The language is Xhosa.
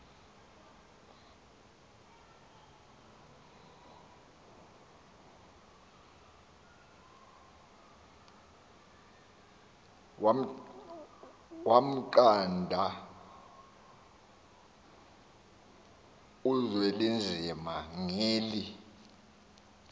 wamnqanda uzwelinzima ngeli